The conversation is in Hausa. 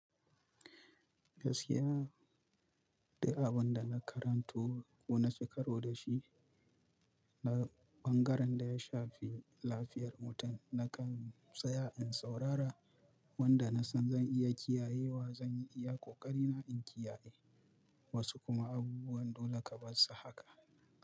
Gaskiya, du abun da na karanto ko na ci karo da shi na ɓangaren da ya shafi lafiyar mutum, nakan tsaya in saurara wanda na san zan iya kiyayewa, zan iya ƙoƙari na in kiyaye. Wasu kuma abubuwan dole ka bar sa haka.